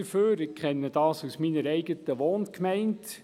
Ich kenne das aus meiner eigenen Wohngemeinde.